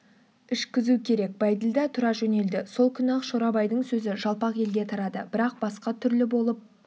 ішкізу керек бәйділда тұра жөнелді сол күні-ақ шорабайдың сөзі жалпақ елге тарады бірақ басқа түрлі болып